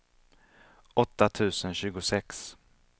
åtta tusen tjugosex